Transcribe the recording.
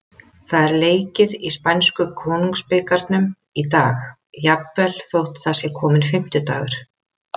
Það er leikið í spænsku Konungsbikarnum í dag, jafnvel þótt það sé kominn fimmtudagur.